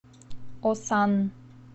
осан